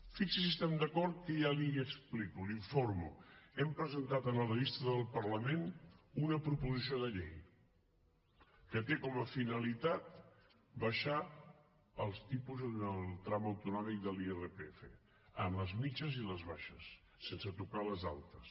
fixi’s si estem d’acord que ja li ho explico l’informo hem presentat en el registre del parlament una proposició de llei que té com a finalitat abaixar els tipus en el tram autonòmic de l’irpf en les mitjanes i les baixes sense tocar les altes